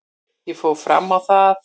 Ég fór fram á það að